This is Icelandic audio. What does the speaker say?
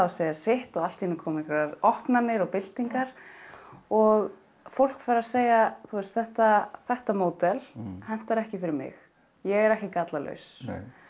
segja sitt allt í einu koma einhverjar opnanir og byltingar og fólk fer að segja þetta þetta módel hentar ekki fyrir mig ég er ekki gallalaus